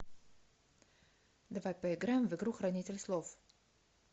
давай поиграем в игру хранитель слов